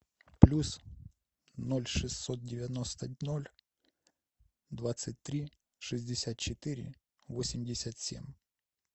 плюс ноль шестьсот девяносто ноль двадцать три шестьдесят четыре восемьдесят семь